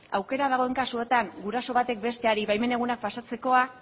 aukera dagoen kasuetan guraso batek besteari baimen egunak pasatzekoa